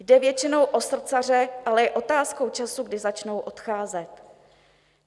Jde většinou o srdcaře, ale je otázkou času, kdy začnou odcházet.